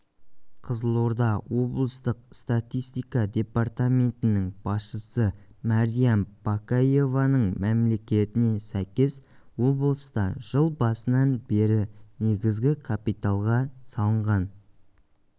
қызылорда облыстық статистика департаментінің басшысы мариям баекееваның мәліметіне сәйкес облыста жыл басынан бері негізгі капиталға салынған